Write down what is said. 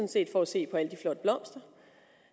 set for at se på alle de flotte blomster